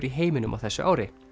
í heiminum á þessu ári